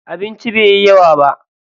Abincin bai yi yawa ba.